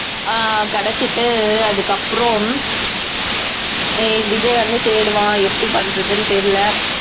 அஹ் கடத்திட்டு அதுக்கப்புறம் ஹம் விஜய் வந்து தேடுவான் எப்படி பண்றதுன்னு தெரியலே